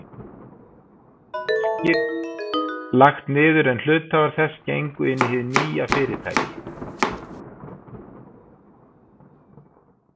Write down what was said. Félagið Virkir lagt niður, en hluthafar þess gengu inn í hið nýja fyrirtæki.